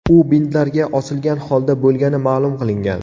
U bintlarga osilgan holda bo‘lgani ma’lum qilingan.